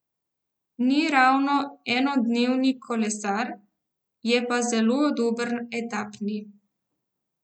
Ni ravno enodnevni kolesar, je pa zelo dober etapni.